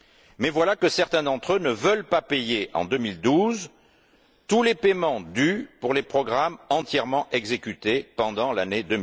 Mais voilà que certains d'entre eux ne veulent pas payer, en 2012, tous les paiements dus pour les programmes entièrement exécutés pendant l'année